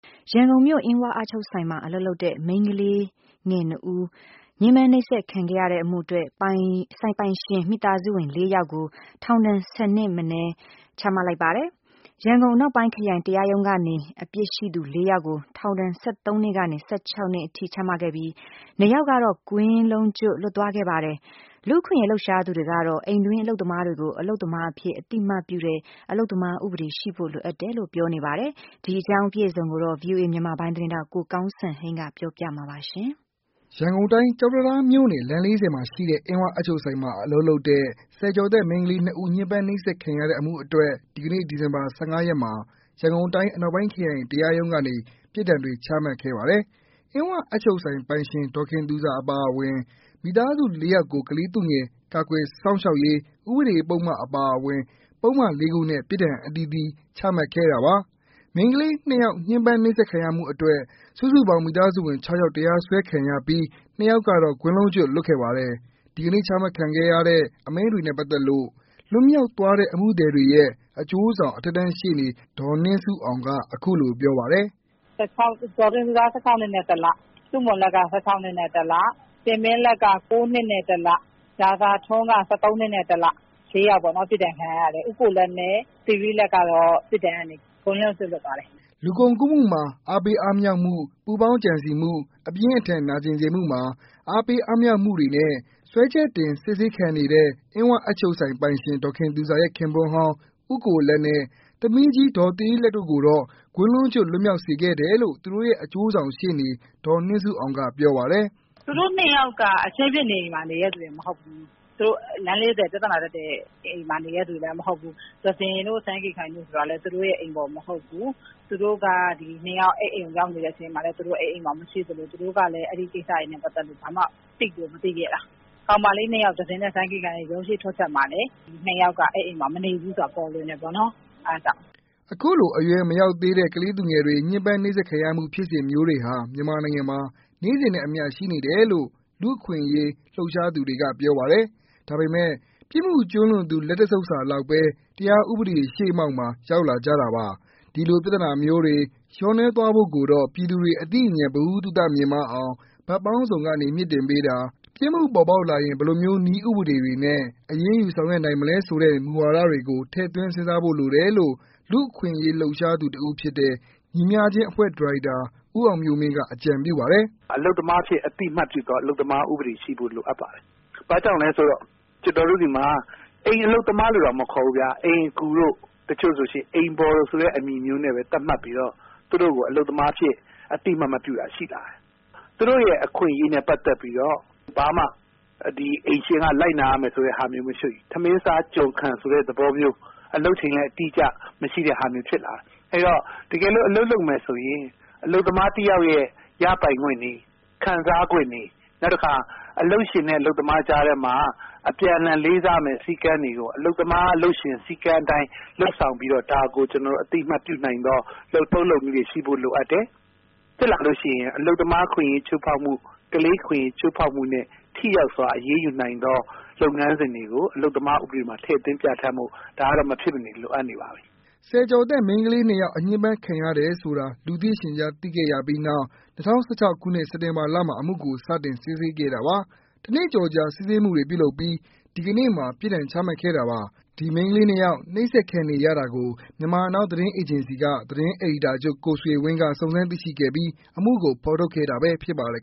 ရန်ကုန်မြို့ အင်းဝအပ်ချုပ်ဆိုင်မှာ အလုပ်လုပ်တဲ့ မိန်းကလေး၂ ဦး ညှင်းပန်းနှိပ်စက်ခံရတဲ့အမှုအတွက် ဆိုင်ပိုင်ရှင် မိသားစုဝင် ၄ ယောက်ကို ထောင်ဒဏ် ၁၀ နှစ်ထက်မနည်း ချမှတ်လိုက်ပါတယ်။ ရန်ကုန်အနောက်ပိုင်းခရိုင်တရားရုံးကနေ အပြစ်ရှိသူ ၄ ယောက်ကို ထောင်ဒဏ် ၁၃ နှစ်ကနေ ၁၆ နှစ်အထိချမှတ်ခဲ့ပြီး။ ၂ ယောက်ကတော့ ကွင်းလုံးကြွတ်လွတ်သွားခဲ့ပါတယ်။ လူ့အခွင့်အရေးလှုပ်ရှားသူတွေကတော့ အိမ်တွင်းအလုပ်သမားတွေကို အလုပ်သမားအဖြစ် အသိအမှတ်ပြုတဲ့ ပြောနေကြပါတယ်။အပြည့်အစုံကိုတော့ ကိုကောင်းစံဟိန်းကပြောပြပေးမှာပါ။ ရန်ကုန်တိုင်း ကျောက်တံတားမြို့နယ် လမ်း ၄၀ မှာရှိတဲ့ အင်းဝအပ်ချုပ်ဆိုင်မှာ အလုပ်လုပ်တဲ့ ဆယ်ကျော်သက် မိန်းကလေး ဦး ညှင်းပန်းနှိပ်စက်ခံခဲ့ရတဲ့အမှုအတွက် ဒီကနေ့ ဒီဇင်ဘာ ၁၅ ရက်နေ ရန်ကုန်အနောက်ပိုင်းခရိုင်တရားရုံးကနေ ပြစ်ဒဏ်တွေချမှတ်ခဲ့ပါတယ်။ အင်းဝအပ်ချုပ်ဆိုင်ပိုင်ရှင် ဒေါ်တင်သူဇာအပါအဝင် မိသားစုဝင် ၄ ယောက်ကို ကလေးသူငယ် ကာကွယ်စောင့်ရှောက်ရေး ဥပဒေပုဒ်မအပါအဝင် ပုဒ်မလေးခုနဲ့ ပစ်ဒဏ်အသီးသီး ချမှတ်ခဲ့တာပါ။ မိန်းကလေး ၂ ယောက် ညှင်းပမ်းနှိပ်စက်ခံရမှုအတွက် စုစုပေါင်း မိသားစုဝင် ၆ ယောက် တရားစွဲခံရပြီး ၂ ယောက်ကတော့ ကွင်းလုံးကြွတ်လွတ်ခဲ့ပါတယ်။ ဒီကနေ့ ချမှတ်ခဲ့တဲ့ အမိန့်တွေနဲ့ပါတ်သက်လို့ လွတ်မြောက်သွားတဲ့ အမှုသည်တွေရဲ့ အကျိူးဆောင် အထက်တန်းရှေ့နေ ဒေါ်နှင်းဆုအောင်ကပြောပါတယ်။ " ဒေါ်တင်သူဇာ ၁၆ နှစ်နဲ့ ၁ လ၊ ဆုမွန်လတ်က ၁၆ နှစ်နဲ့ ၁ လ၊ တင်မင်းလတ်က ၉ နှစ်နဲ့ ၁ လ ၊ ရာဇာထွန်းက ၁၃ နှစ်နဲ့ ၁ လ ။ ၄ယောက်ပေါ့နော် ပြစ်ဒဏ်ခံရတယ်။ ဦးကိုလတ်နဲ့ သီရိလတ်ကတော့ ပြစ်ဒဏ်ကနေ ကွင်းလုံးကျွတ်လွှတ်ပါတယ်။" လူကုန်ကူးမှုတွင် အားပေးအားမြှောက်မှု၊ပူးပေါင်းကြံစည်မှု၊အပြင်းအထန်နာကျင်စေမှုမှာ အားပေးအားမြှောက်ပြုမှုတို့နဲ့ စွဲချက်တင်စစ်ဆေးခံနေတဲ့ အင်းဝအပ်ချုပ်ဆိုင်ပိုင်ရှင် ဒေါ်ခင်သူဇာရဲ့ ခင်ပွန်းဟောင်း ဦးကိုလတ်နဲ့ သမီးကြီးဒေါ်သီရိလတ်တို့ကိုတော့ ကွင်းလုံးကျွတ်လွတ်မြောက်စေခဲ့တယ်လို့ သူတို့ရဲ့အကျိုးဆောင်ရှေ့နေ ဒေါ်နှင်းဆုအောင်ကပြောပါတယ်။ "သူတို့ ၂ ယောက်က အခင်းဖြစ်နေအိမ်မှာ နေတဲ့လူတွေမဟုတ်ဘူး။ လမ်း ၄၀ ပြဿနာတက်တဲ့အိမ်မှာ နေတဲ့လူတွေမဟုတ်ဘူး။သဇင်တို့ စန်းကေခိုင်တို့ဆိုတာလည်း သူတို့အိမ်ဖော်မဟုတ်ဘူး။ သူတို့က အခင်းဖြစ်နေတဲ့အချိန်မှာ သူတို့ အဲဒီမှာမရှိသလို သူတို့ကလည်း အဲဒီကိစ္စတွေနဲ့ ပတ်သက်လို့ ဘာမှကို သိကိုမသိခဲ့တာ။ ကောင်မလေး ၂ ယောက် သဇင်တို့ စန်းကေခိုင်တို့ ရုံးအရှေ့ထွက်ချက်မှာလည်း ဒီ ၂ ယောက်ကမနေဘူးဆိုတာ ပေါ်လွင်တယ်ပေါ့နော် အဲဒါကြောင့်။" အခုလို အရွယ်မရောက်သေးတဲ့ ကလေးသူငယ်တွေ ညှင်းပန်းနှိပ်စက်ခံရမှုဖြစ်စဉ်မျိုးတွေဟာ မြန်မာနိုင်ငံမှာ နေ့စဉ်နဲ့အမျှရှိနေတယ်လို့ လူ့အခွင့်အရေး လှုပ်ရှားသူတွေက ပြောပါတယ်။ ဒါပေမဲ့ ပြစ်မှုကျူးလွန်သူ လက်တစ်ဆုပ်စာလောက်ဘဲ တရားဥပဒေရှေ့မှောက်မှာ ရောက်လာကြတာပါ။ဒီလို ပြသနာမျိုးတွေ လျော့နည်းသွားဖို့ကိုတော့ ပြည်သူတွေ အသိဉာဏ် ဗဟုသုတ မြင့်မားအောင် ဘက်ပေါင်းစုံကနေ မြှင့်တင်ပေးတာ ၊ ပြစ်မှုပေါ်ပေါက်လာရင် ဘယ်လိုမျိုးနည်းဥပဒေတွေနဲ့ အရေးယူဆောင်ရွက်နိုင်မလဲဆိုတဲ့ မူဝါဒတွေကို ထည့်သွင်းစဉ်းစားဖို့လိုတယ်လို့ လူ့အခွင့်အရေးလှုပ်ရှားသူတစ်ဦးဖြစ်တဲ့ ညီမျှခြင်းအဖွဲ့ ဒါရိုက်တာဦးအောင်မျိူးမင်းက အကြံပြုပါတယ်။ "အိမ်တွင်းအလုပ်သမားတွေကို ကျနော်တို့က အသိအမှတ်ပြုသော အလုပ်သမား ဥပဒေရှိဖို့ လိုအပ်ပါတယ်။ ဘာကြောင့်လဲဆိုတော့ ကျနော်တို့တွေမှာ အိမ်အလုပ်သမားလို့တောင်မခေါ်ဘူးခင်ဗျ အိမ်အကူတို့ တချို့ဆိုရင် အိမ်ဖော်ဆိုတဲ့ အမည်မျိုးနဲ့ သတ်မှတ်ပြီးတော့ သူတို့ကို အလုပ်သမားအဖြစ် အသိအမှတ်မပြုတာ ရှိလာတယ်။ အဲဒီတော့ သူတို့အခွင့်အရေးနဲ့ ပတ်သက်ပြီးတော့ ကျနော်တို့ဘာမှ အိမ်ရှင်ကလိုက်နာရမယ်ဆိုတာမျိုးတွေ၊ ထမင်းစား ကျွန်ခံ ဆိုတာမျိုး အလုပ်ချိန်လည်း အတိအကျ မရှိတာမျိုးဖြစ်လာတယ်။ အဲဒီတော့ တကယ်လို့ အလုပ်လုပ်မယ်ဆိုရင် အလုပ်သမားတယောက်ရဲ့ ရပိုင်ခွင့်တွေ ခံစားခွင့်တွေ၊ နောက်တခါ အလုပ်ရှင်နဲ့ အလုပ်သမားကြားထဲမှာ အပြန်အလှန်လေးစားရမယ့် စည်းမျဉ်းတွေကို အလုပ်သမား၊ အလုပ်ရှင် စည်းကမ်းအတိုင်း လုပ်ဆောင်ပြီးတော့ ဒါကို ကျနော်တို့ အသိအမှတ်ပြုနိုင်သော လုပ်ထုံးလုပ်နည်းတွေ ရှိဖို့လိုအပ်တယ်။ ဖြစ်လာလို့ရှိရင် အလုပ်သမားအခွင့်အရေးချိုးဖောက်မှု ၊ ကလေးအခွင့်အရေးချိုးဖောက်မှုနဲ့ ထိရောက်စွာ အရေးယူနိုင်သော လုပ်ငန်းစဉ်တွေကို အလုပ်သမားဥပဒေမှာ ထည့်သွင်းဖော်ပြဖို့ ဒါကတော့ မဖြစ်မနေ လိုအပ်နေပါပြီ။" ဆယ်ကျော်သက်မိန်းကလေး ၂ ယောက် ညှင်ပမ်းခံရတယ်ဆိုတာ လူသိရှင်ကြားသိခဲ့ရပြီးနောက် ၂၀၁၆ ခုနှစ် စက်တင်ဘာလမှာ အမှုကို စတင်စစ်ဆေးခဲ့တာပါ။ တစ်နှစ်ကျော်ကြာ စစ်ဆေးမှုတွေပြုလုပ်ပီး ဒီကနေ့မှာ ပြစ်ဒဏ်ချမှတ်ခဲ့တာပါ။ ဒီမိန်းကလေး ၂ ယောက် နှိပ်စက်ခံနေရတာကို မြန်မာနောင်းသတင်းအေဂျင်စီမှ သတင်း အယ်ဒီတာချုပ် ကိုဆွေဝင်းကစုံစမ်းသိရှိခဲ့ပြီး အမှုကိုဖော်ထုတ်ခဲ့တာဖြစ်ပါတယ်